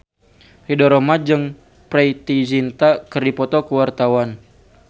Ridho Roma jeung Preity Zinta keur dipoto ku wartawan